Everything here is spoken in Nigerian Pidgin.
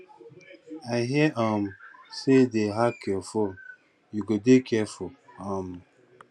i hear um say dey hack your phone you go dey careful um